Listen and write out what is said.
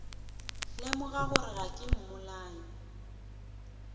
lemoga gore ga ke mmolai